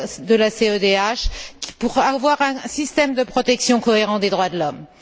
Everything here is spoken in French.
de la CEDH pour avoir un système de protection cohérent des droits de l'homme.